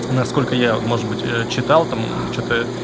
насколько я может быть читал там что-то